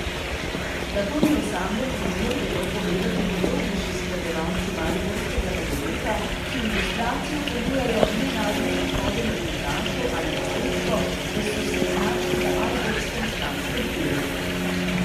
Da to ni osamljen primer, vedo povedati podrobnejši spremljevalci mariborskega nogometa, ki v ilustracijo ponujajo nenadne odhode nogometašev ali pa dejstvo, da so se znašli na mariborskem stranskem tiru.